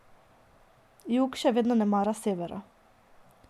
Jug še vedno ne mara severa.